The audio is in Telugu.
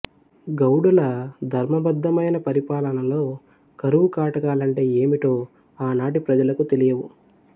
గౌడుల ధర్మబద్ధమైన పరిపాలనలో కరువు కాటకాలంటే ఏమిటో ఆనాటి ప్రజలకు తెలియవు